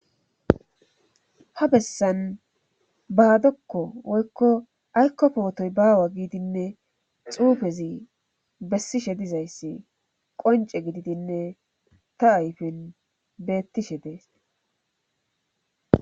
ha bessan baadokko woykko aykko pootoy baawa giidinne xuufezi bessishe dizayssi qonce gididinne ta ayfen beettishe dees